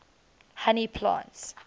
honey plants